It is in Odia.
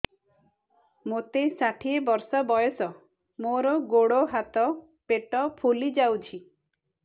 ମୋତେ ଷାଠିଏ ବର୍ଷ ବୟସ ମୋର ଗୋଡୋ ହାତ ପେଟ ଫୁଲି ଯାଉଛି